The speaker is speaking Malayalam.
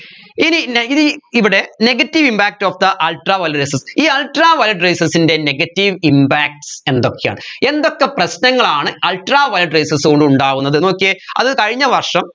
ഇനി ന ഇനി ഇവിടെ negative impact of the ultraviolet rayses ഈ ultraviolet rayses ൻെറ negative impacts എന്തൊക്കെയാണ് എന്തൊക്കെ പ്രശ്നങ്ങളാണ് ultraviolet rayses കൊണ്ട് ഉണ്ടാവുന്നത് നോക്കിയേ അത് കഴിഞ്ഞ വർഷം